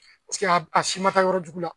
Paseke a si ma taa yɔrɔ jugu la